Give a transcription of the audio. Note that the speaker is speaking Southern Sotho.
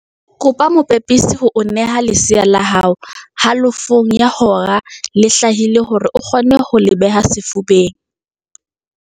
Kopa mopepisi ho o neha lesea la hao halofong ya hora le hlahile hore o kgone ho le beha sefubeng.